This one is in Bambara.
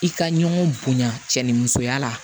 I ka ɲɔgɔn bonya cɛ ni musoya la